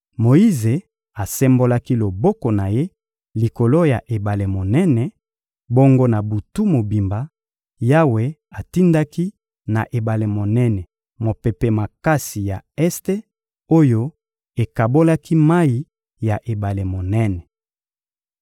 Moyize asembolaki loboko na ye likolo ya ebale monene; bongo na butu mobimba, Yawe atindaki na ebale monene mopepe makasi ya este oyo ekabolaki mayi ya ebale monene.